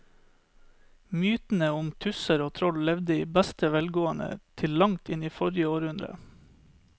Mytene om tusser og troll levde i beste velgående til langt inn i forrige århundre.